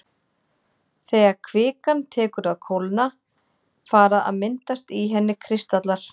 þegar kvikan tekur að kólna fara að myndast í henni kristallar